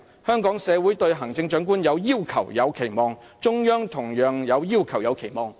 香港社會對行政長官有要求、有期望；中央同樣有要求、有期望。